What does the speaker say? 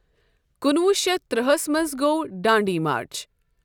کُنہٕ وُہ شیٚتھ ترٕٛہس منٚز گوٚو دانڈی مارچ۔